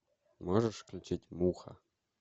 можешь включить муха